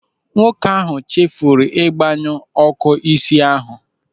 Nwoke ahụ chefuru ịgbanyu ọ́kụ́ isi ahụ.